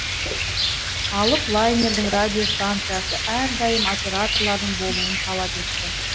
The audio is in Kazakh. алып лайнердің радиостанциясы әрдайым операторлардың болуын талап етті